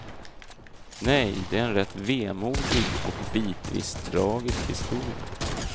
Nej, det är en rätt vemodig och bitvis tragisk historia.